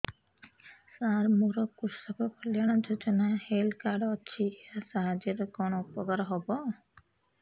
ସାର ମୋର କୃଷକ କଲ୍ୟାଣ ଯୋଜନା ହେଲ୍ଥ କାର୍ଡ ଅଛି ଏହା ସାହାଯ୍ୟ ରେ କଣ ଉପକାର ହବ